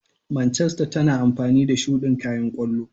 Manchester tana amfani da shudin kayan kwallo.